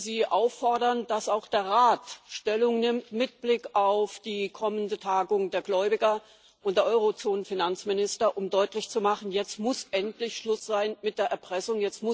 Ich möchte Sie auffordern, dass auch der Rat mit Blick auf die kommende Tagung der Gläubiger und der Eurozonenfinanzminister Stellung nimmt, um deutlich zu machen Jetzt muss endlich Schluss sein mit der Erpressung.